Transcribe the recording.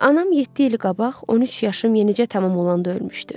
Anam yeddi il qabaq 13 yaşım yenicə tamam olanda ölmüşdü.